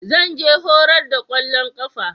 Zan je horar da kwallon kafa.